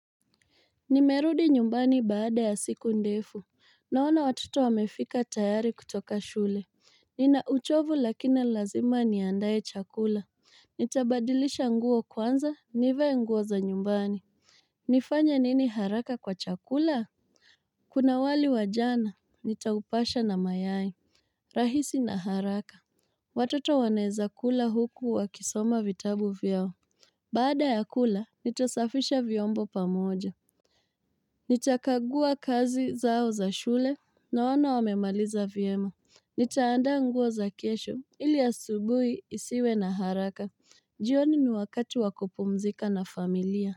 Nimerudi nyumbani baada ya siku ndefu Naona watoto wamefika tayari kutoka shule Nina uchovu lakina lazima niandaye chakula Nitabadilisha nguo kwanza nivae nguo za nyumbani nifanya nini haraka kwa chakula? Kuna wali wa jana, nitaupasha na mayai rahisi na haraka watoto waneza kula huku wa kisoma vitabu vyao Baada ya kula nitosafisha vyombo pamoja Nita kagua kazi zao za shule na wana wamemaliza vyema. Nitaanda nguo za kesho ili asubui isiwe na haraka. Jioni ni wakatu wakupumzika na familia.